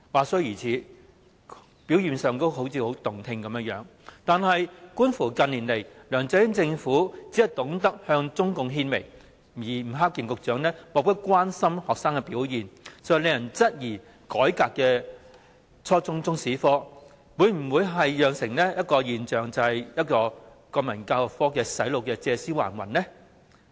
雖然這番話聽起來很動聽，但觀乎近年梁振英政府只懂向中共獻媚，以及吳克儉局長對學生的表現漠不關心，實在使人質疑改革後的初中中史科，會否只是洗腦國民教育科"借屍還魂"的現象呢？